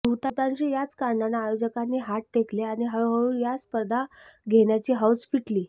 बहुतांश याच कारणानं आयोजकांनी हात टेकले आणि हळूहळू या स्पर्धा घेण्याची हौस फिटली